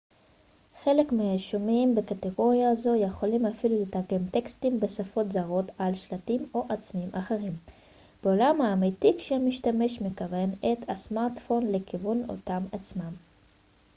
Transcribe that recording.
חלק מהיישומים בקטגוריה זו יכולים אפילו לתרגם טקסטים בשפות זרות על שלטים או עצמים אחרים בעולם האמיתי כשהמשתמש מכוון את הסמרטפון לכיוון אותם עצמים